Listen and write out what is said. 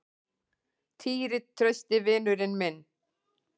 Týri, trausti vinurinn hennar.